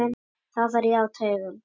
Þá fer ég á taugum.